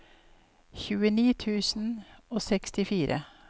tjueni tusen og sekstifire